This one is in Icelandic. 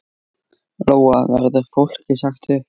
Lóa: Verður fólki sagt upp?